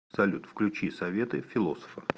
салют включи советы философа